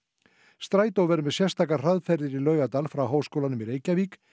strætó verður með sérstakar hraðferðir í Laugardal frá Háskólanum í Reykjavík